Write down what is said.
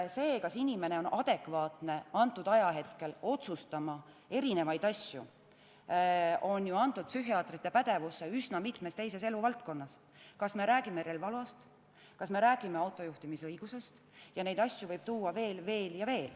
See, kas inimene on antud ajahetkel adekvaatne midagi otsustama, on antud psühhiaatrite pädevusse juba üsna mitmes teiseski eluvaldkonnas – kas me räägime relvaloast, kas me räägime autojuhtimise õigusest, neid asju võib tuua veel ja veel.